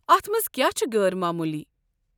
اتھ مَنٛز کیٛاہ چھُ غٲر معموٗلی؟